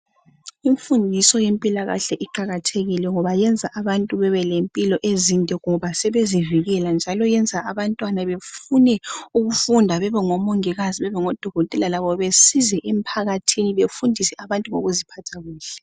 Imfundiso ye mpilakahle iqakathekile ngoba yenza abantu bebe lempilo ezide ngoba sebezivikela njalo yenza abantwana befune ukufunda bebe ngomongikazi bebe ngodokotela labo besize emphakathini befundisa abantu ukuziphatha kahle.